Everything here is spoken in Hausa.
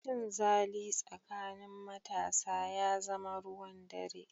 Cinzali tsakanin matasa ya zama ruwan dare.